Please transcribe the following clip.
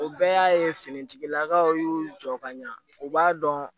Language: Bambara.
O bɛɛ y'a ye finitigilakaw y'u jɔ ka ɲa u b'a dɔn